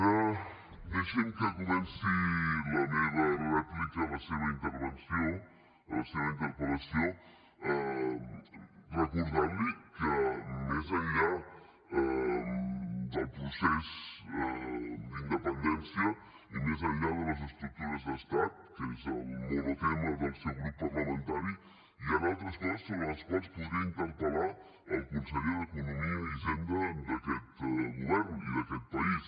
ara deixi’m que comenci la meva rèplica a la seva intervenció a la seva interpel·lació recordant li que més enllà del procés d’independència i més enllà de les estructures d’estat que és el monotema del seu grup parlamentari hi han altres coses sobre les quals podria interpel·lar el conseller d’economia i hisenda d’aquest govern i d’aquest país